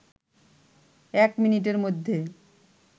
১ মিনিটের মধ্যে